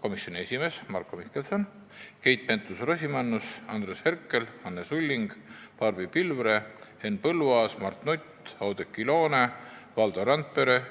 komisjoni esimees Marko Mihkelson, Keit Pentus-Rosimannus, Andres Herkel, Anne Sulling, Barbi Pilvre, Henn Põlluaas, Mart Nutt, Oudekki Loone ja Valdo Randpere.